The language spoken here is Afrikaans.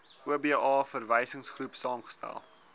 oba verwysingsgroep saamgestel